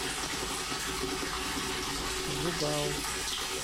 жугао